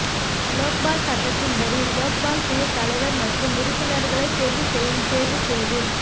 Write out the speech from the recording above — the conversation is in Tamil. லோக் பால் சட்டத்தின்படி லோக்பால் குழு தலைவர் மற்றும் உறுப்பினர்களை தேர்வு செய்யும் தேர்வுக் குழுவில்